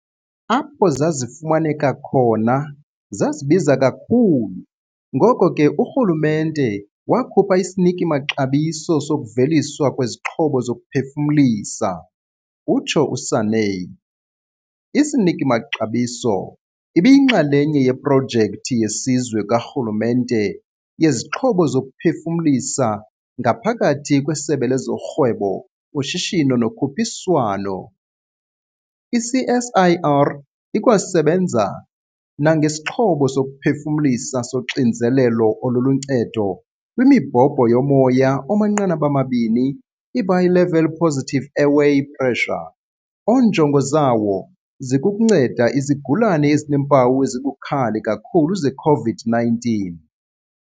Apho zazifumaneka khona, zazibiza kakhulu, ngoko ke urhulumente wakhupha isiniki-maxabiso sokuveliswa kwezixhobo zokuphefumlisa, utsho uSanne. Isiniki-maxabiso ibiyinxalenye yeProjekthi yeSizwe karhulumente yeziXhobo zokuPhefumlisa ngaphakathi kweSebe lezoRhwebo, uShishino noKhuphiswano. I-CSIR ikwasebenza nangesixhobo sokuphefumlisa soXinzelelo oluluNcedo kwiMibhobho yoMoya omaNqanaba-mabini, i-Bi-level Positive Airway Pressure, onjongo zawo zikukunceda izigulane ezineempawu ezibukhali kakhulu ze-COVID-19.